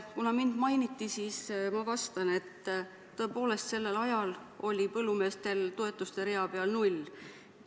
Kuna mind mainiti, siis ma vastan, et tõepoolest, sellel ajal oli põllumeestel toetuste rea peal null.